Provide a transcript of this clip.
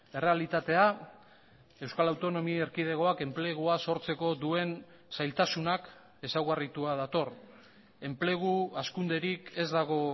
errealitatea euskal autonomia erkidegoak enplegua sortzeko duen zailtasunak ezaugarritua dator enplegu hazkunderik ez dago